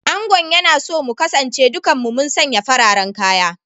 Angon yana so mu kasance dukan mu mun sanye fararen kaya